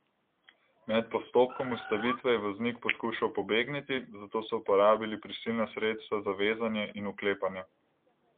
Med postopkom ustavitve je voznik poskušal pobegniti, zato so uporabili prisilna sredstva za vezanje in vklepanje.